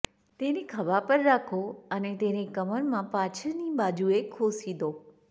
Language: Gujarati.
તેને ખભા પર રાખો અને તેને કમરમાં પાછળની બાજુએ ખોસી દો